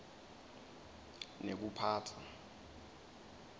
nekuphatsa